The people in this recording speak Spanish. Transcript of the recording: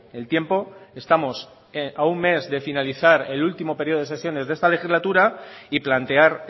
el tiempo estamos a un mes de finalizar el último periodo de sesiones de esta legislatura y plantear